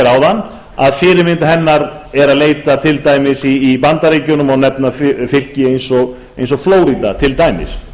áðan að fyrirmyndar hennar er að leita til dæmis í bandaríkjunum og má nefna fylki eiga og flórída til dæmis